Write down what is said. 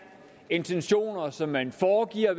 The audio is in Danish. intentioner som man foregiver at